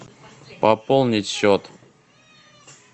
пополнить счет